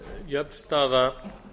jöfn staða